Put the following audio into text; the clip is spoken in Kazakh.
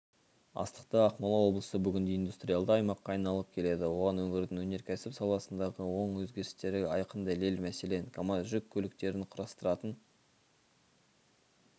астықты ақмола облысы бүгінде индустриялды аймаққа айналып келеді оған өңірдің өнеркәсіп саласындағы оң өзгерістері айқын дәлел мәселен камаз жүк көліктерін құрастыратын